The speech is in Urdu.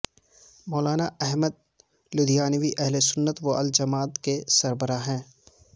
مولانا احمد لدھیانوی اہلسنت و الجماعت کے سربراہ ہیں